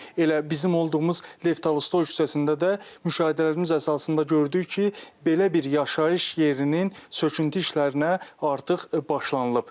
Elə bizim olduğumuz Lev Tolstoy küçəsində də müşahidələrimiz əsasında gördük ki, belə bir yaşayış yerinin söküntü işlərinə artıq başlanılıb.